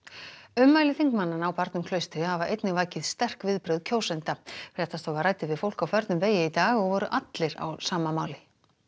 ummæli þingmannanna á barnum Klaustri hafa einnig vakið sterk viðbrögð kjósenda fréttastofa ræddi við fólk á förnum vegi í dag og voru allir á sama máli